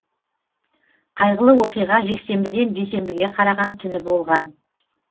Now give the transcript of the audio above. қайғылы оқиға жексенбіден дүйсенбіге қараған түні болған